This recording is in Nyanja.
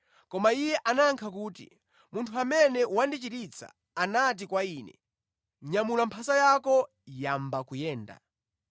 Koma iye anayankha kuti, “Munthu amene wandichiritsa anati kwa ine, ‘Nyamula mphasa yako yamba kuyenda.’ ”